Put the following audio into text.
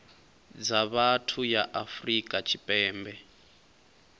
dza vhathu ya afrika tshipembe